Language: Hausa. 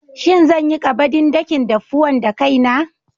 Shin zan yi ƙabadin dakin daffuwan da kaina?